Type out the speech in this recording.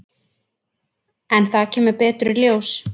En það kemur betur í ljós.